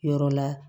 Yɔrɔ la